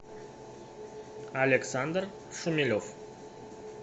александр шумелев